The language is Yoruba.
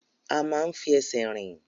A máa ń fi ẹsẹ̀ rìn.